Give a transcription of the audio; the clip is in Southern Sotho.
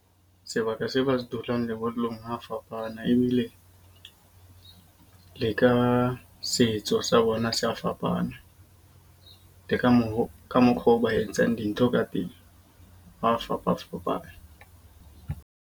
Sebaka seo ba dulang lebollong ho a fapana. Ebile le ka setso sa bona se a fapana, le ka moo ka mokgo ba etsang dintho ka pele ho a fapafapana.